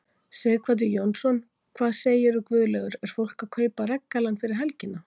Sighvatur Jónsson: Hvað segirðu Guðlaugur er fólk að kaupa regngallann fyrir helgina?